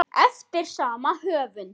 eftir sama höfund.